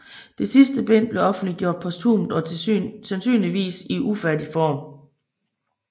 Det sidste bind blev offentliggjort posthumt og sandsynligvis i ufærdig form